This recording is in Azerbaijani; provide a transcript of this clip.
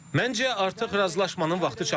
Məncə artıq razılaşmanın vaxtı çatıb.